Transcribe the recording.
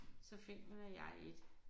Så finder jeg 1